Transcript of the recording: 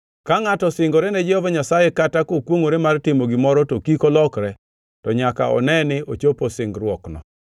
Ka ngʼato osingore ne Jehova Nyasaye kata kokwongʼore mar timo gimoro to kik olokre, to nyaka one ni ochopo singruokneno.